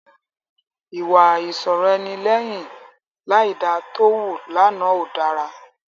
Ìwà ìṣọ̀rọ̀-ẹni lẹ́yìn láìda tó wu lánàá ò dára.